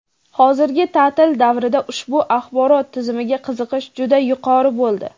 Hozirgi ta’til davrida ushbu axborot tizimiga qiziqish juda yuqori bo‘ldi.